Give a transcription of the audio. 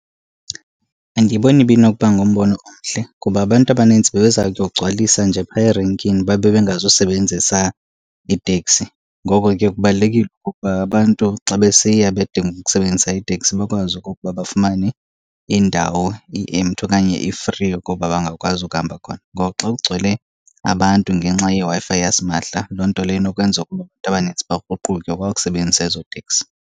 Andiyiboni ibinokuba ngumbono omhle, kuba abantu abanintsi bebeza kuyokugcwalisa nje phaya erenkini babe bengazusebenzisa iiteksi. Ngoko ke kubalulekile okokuba abantu xa besiya bedinga ukusebenzisa iiteksi bakwazi okokuba bafumane indawo i-empty okanye i-free okokuba bangakwazi ukuhamba khona. Ngoku xa kugcwele abantu ngenxa yeWi-Fi yasimahla loo nto leyo inokwenza abantu abanintsi bakruquke kwa ukusebenzisa ezo teksi.